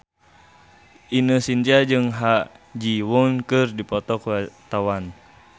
Ine Shintya jeung Ha Ji Won keur dipoto ku wartawan